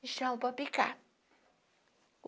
Do chão para picar.